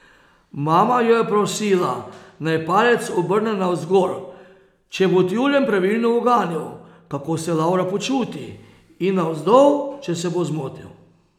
Mama jo je prosila, naj palec obrne navzgor, če bo tjulenj pravilno uganil, kako se Lavra počuti, in navzdol, če se bo zmotil.